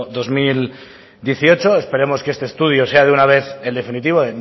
dos mil dieciocho esperamos que este estudio sea de una vez el definitivo